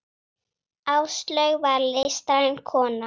Áslaug var listræn kona.